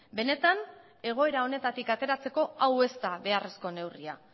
benetan egoera honetatik ateratzeko hau ez da beharrezko neurria